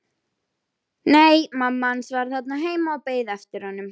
Nei, mamma hans var þarna heima og beið eftir honum.